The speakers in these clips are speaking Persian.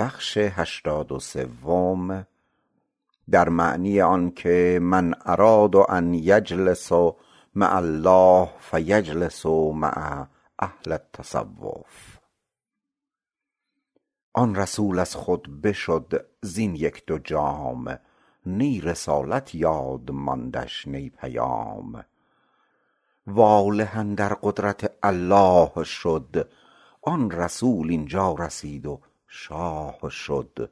آن رسول از خود بشد زین یک دو جام نی رسالت یاد ماندش نی پیام واله اندر قدرت الله شد آن رسول اینجا رسید و شاه شد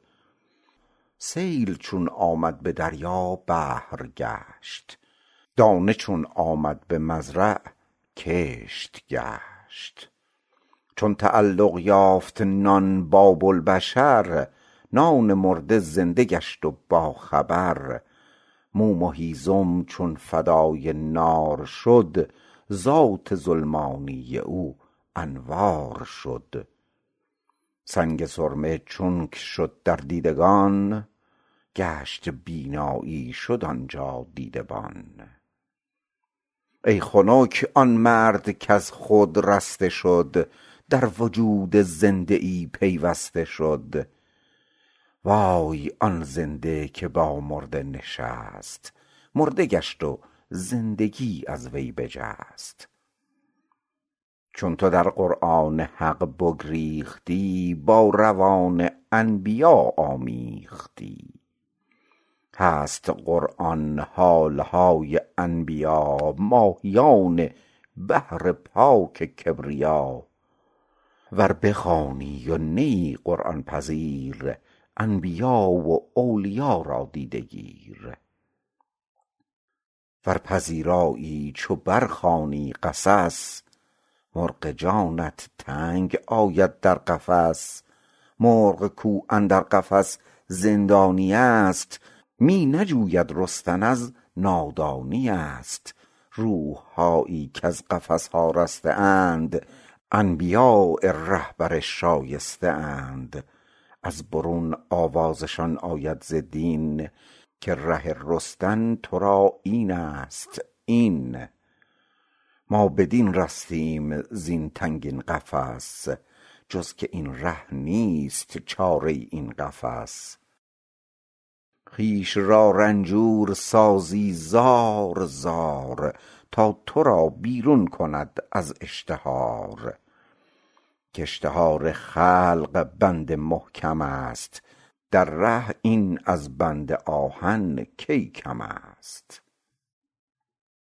سیل چون آمد به دریا بحر گشت دانه چون آمد به مزرع صحو گشت چون تعلق یافت نان با بوالبشر نان مرده زنده گشت و با خبر موم و هیزم چون فدای نار شد ذات ظلمانی او انوار شد سنگ سرمه چونک شد در دیدگان گشت بینایی شد آنجا دیدبان ای خنک آن مرد کز خود رسته شد در وجود زنده ای پیوسته شد وای آن زنده که با مرده نشست مرده گشت و زندگی از وی بجست چون تو در قرآن حق بگریختی با روان انبیا آمیختی هست قرآن حالهای انبیا ماهیان بحر پاک کبریا ور بخوانی و نه ای قرآن پذیر انبیا و اولیا را دیده گیر ور پذیرایی چو بر خوانی قصص مرغ جانت تنگ آید در قفس مرغ کو اندر قفس زندانیست می نجوید رستن از نادانیست روحهایی کز قفسها رسته اند انبیاء رهبر شایسته اند از برون آوازشان آید ز دین که ره رستن ترا اینست این ما بدین رستیم زین تنگین قفس جز که این ره نیست چاره این قفس خویش را رنجور سازی زار زار تا ترا بیرون کنند از اشتهار که اشتهار خلق بند محکمست در ره این از بند آهن کی کمست